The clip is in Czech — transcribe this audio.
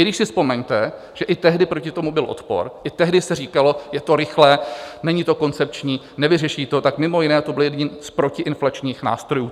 I když si vzpomeňte, že i tehdy proti tomu byl odpor, i tehdy se říkalo, je to rychlé, není to koncepční, nevyřeší to, tak mimo jiné to byl jeden z protiinflačních nástrojů.